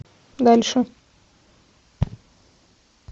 дальше